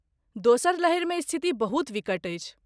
दोसर लहरिमे स्थिति बहुत विकट अछि।